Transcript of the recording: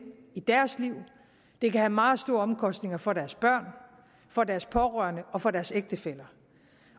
i deres liv det kan have meget store omkostninger for deres børn for deres pårørende og for deres ægtefæller